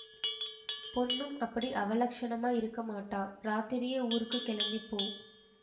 பொண்ணும் அப்படி அவலட்சணமா இருக்கமாட்டா ராத்திரியே ஊருக்கு கிளம்பி போ